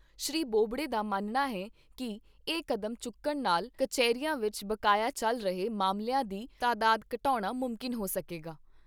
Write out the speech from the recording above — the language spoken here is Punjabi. ਸ਼੍ਰੀ ਬੋਬਡੇ ਦਾ ਮੰਨਣਾ ਹੈ ਕਿ ਇਹ ਕਡੈਮਚੁੱਕਣ ਨਾਲ਼ ਕਚਹਿਰੀਆਂ ਵਿਚ ਬਕਾਇਆ ਚੱਲ ਰਹੇ ਮਾਮਲਿਆਂ ਦੀ ਤਾਦਾਦ ਘਟਾਉਣਾ ਮੁਮਕਿਨ ਹੋ ਸਕੇਗਾ।